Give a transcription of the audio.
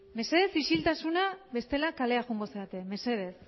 mesedez isiltasuna bestela kalea joango zarete mesedez